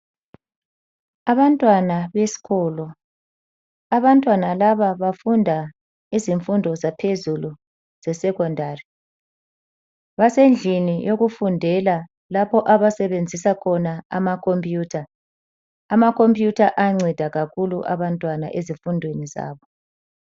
Abantwana besikolo. Abantwana laba bafunda ezemfundo zaphezulu zesekhondari. Basendlini yokufundela lapho abasebenzisa khona amakhompiyutha. Amakhompiyutha ayanceda kakhulu abantwana ezifundweni zabo.